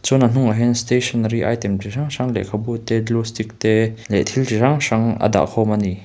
chuan a hnung ah hian stationary item chi hrang hrang lehkhabu te glue stick te leh thil chi hrang hrang a dah khawm a ni.